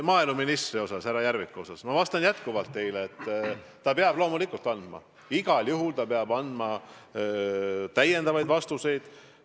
Maaeluministri, härra Järviku kohta ma vastan teile veel kord, et ta peab loomulikult, igal juhul andma täiendavaid vastuseid.